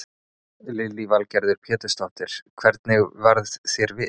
Lillý Valgerður Pétursdóttir: Hvernig varð þér við?